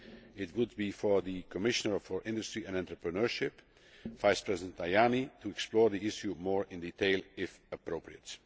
It would be for the Commissioner for Industry and Entrepreneurship, Vice President Tajani, to explore the issue more in detail if appropriate.